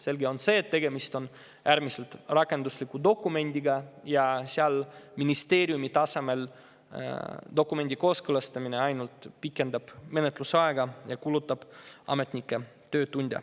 Selge on see, et tegemist on äärmiselt rakendusliku dokumendiga, ministeeriumi tasemel dokumendi kooskõlastamine aga ainult pikendab menetlusaega ja kulutab ametnike töötunde.